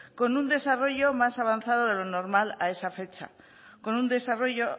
con un desarrollo más avanzado de lo normal a esa fecha con un desarrollo